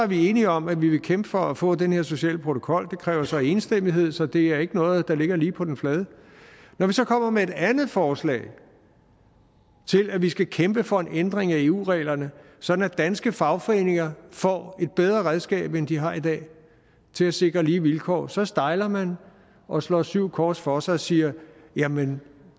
vi enige om at vi vil kæmpe for at få den her sociale protokol det kræver så enstemmighed så det er ikke noget der ligger lige på den flade når vi så kommer med et andet forslag til at vi skal kæmpe for en ændring af eu reglerne sådan at danske fagforeninger får et bedre redskab end de har i dag til at sikre lige vilkår så stejler man og slår syv kors for sig og siger jamen